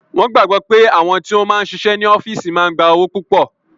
Wọn gbàgbọ́ pé àwọn tí ó máa ń ṣiṣẹ́ ní ọ́físì máa ń gba owó púpọ̀